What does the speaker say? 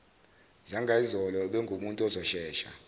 zangayizolo ubengumuntu ozoshesha